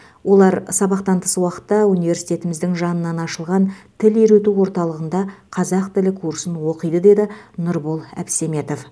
олар сабақтан тыс уақытта университетіміздің жанынан ашылған тіл үйрету орталығында қазақ тілі курсын оқиды деді нұрбол әбсеметов